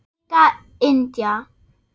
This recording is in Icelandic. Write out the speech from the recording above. Sigga Indía.